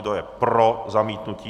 Kdo je pro zamítnutí?